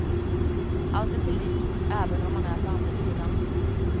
Allt är sig likt, även om man är på andra sidan.